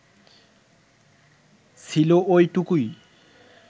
ছিল ওইটুকুই